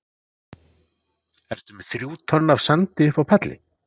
Ertu með þrjú tonn af sandi uppi á palli?